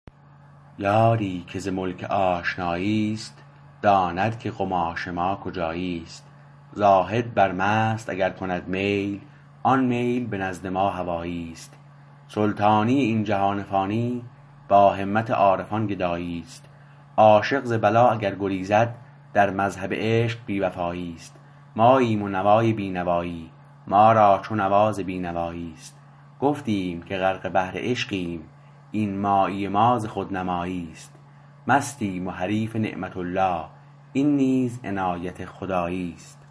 یاری که ز ملک آشنایی است داند که قماش ما کجایی است زاهد بر مست اگر کند میل آن میل به نزد ما هوایی است سلطانی این جهان فانی با همت عارفان گدایی است عاشق ز بلا اگر گریزد در مذهب عشق بی وفایی است ماییم و نوای بی نوایی ما را چو نوا ز بی نوایی است گفتیم که غرق بحر عشقیم این مایی ما ز خودنمایی است مستیم و حریف نعمة الله این نیز عنایت خدایی است